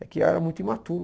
É que eu era muito imaturo.